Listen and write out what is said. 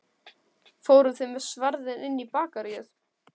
Fóruð þið með sverðin inn í Bakaríið?